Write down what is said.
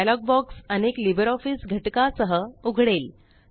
dialogue box अनेक LibreOfficeघटका सह उघडेल